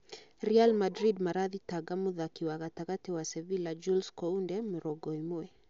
Real Madrid marathingata mũthaki wa gatagati wa Sevilla Jules Kounde ,mũrongo ĩmwe